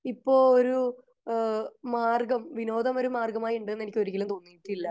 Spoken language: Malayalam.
ഇപ്പൊ ഒരു മാർഗം വിനോധം ഒരു മാർഗം ആയി ഉണ്ടെന്ന് എനിക്ക് ഒരിക്കലും തോന്നിയിട്ടില്ല